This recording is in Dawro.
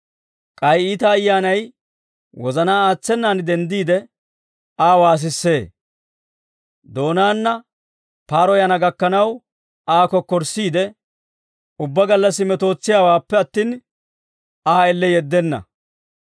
k'ay iita ayyaanay wozanaa aatsenan denddiide Aa waasissee; doonaana paaroyana gakkanaw Aa kokkorssiide, ubbaa gallassi metootsiyaawaappe attin, Aa elle yeddenna.